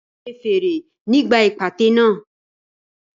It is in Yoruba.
Tẹ fèrè nígbà ìpàtẹ náà.